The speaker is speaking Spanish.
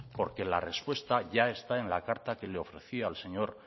porque la respuesta ya está en la carta que le ofrecí al señor